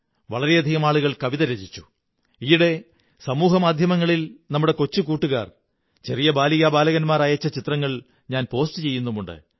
വളരെയധികം ആളുകൾ കവിതകൾ രചിച്ചു ഈയിടെ സമൂഹമാധ്യമങ്ങളിൽ നമ്മുടെ കൊച്ചു കൂട്ടുകാർ ചെറിയ ബാലികാ ബാലന്മാർ അയച്ച ചിത്രങ്ങൾ ഞാൻ പോസ്റ്റ് ചെയ്യുന്നുമുണ്ട്